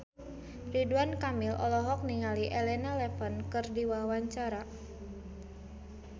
Ridwan Kamil olohok ningali Elena Levon keur diwawancara